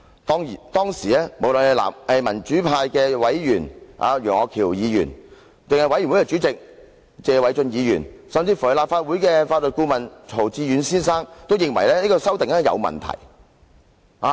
當時，民主派委員楊岳橋議員、專責委員會主席謝偉俊議員及立法會法律顧問曹志遠先生均認為，這項修訂有問題。